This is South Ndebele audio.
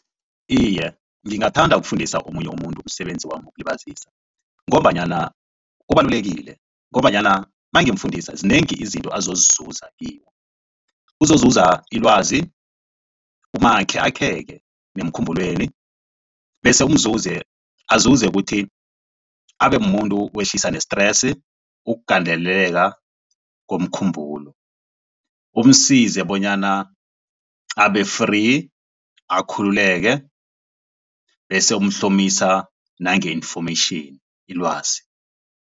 Iye, ngingathanda ukufundisa omunye umuntu umsebenzi wami wokulibazisa ngombanyana ubalulekile ngombanyana mangimfundisa zinengi izinto azozizuza kimi. Uzozuza ilwazi umakhe akheke nemkhumbulweni bese umzuzi azuze kuthi abemuntu owehlisa ne-stress ukugandeleleka komkhumbulo. Umsize bonyana abe-free akhululeke bese umuhlomisa nange-information ilwazi.